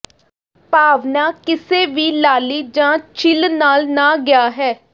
ਭਾਵਨਾ ਕਿਸੇ ਵੀ ਲਾਲੀ ਜ ਛਿੱਲ ਨਾਲ ਨਾ ਗਿਆ ਹੈ